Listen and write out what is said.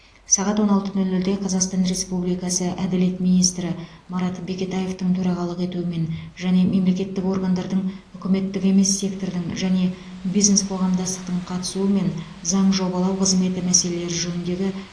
сағат он алты нөл нөлде қазақстан республикасы әділет министрі марат бекетаевтың төрағалық етуімен және мемлекеттік органдардың үкіметтік емес сектордың және бизнес қоғамдастықтың қатысуымен заң жобалау қызметі мәселелері жөніндегі